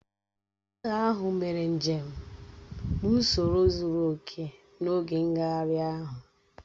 Ndị agha ahụ mere njem n'ụsoro zuru oke n'oge ngagharị ahụ